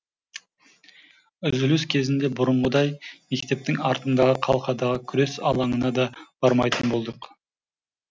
үзіліс кезінде бұрынғыдай мектептің артындағы қалқадағы күрес алаңына да бармайтын болдық